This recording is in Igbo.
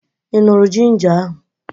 Ị ṅụrụ ginja ahụ?